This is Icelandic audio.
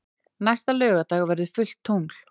Næsta laugardag verður fullt tungl.